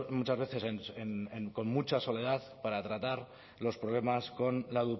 muchas veces con mucha soledad para tratar los problemas con la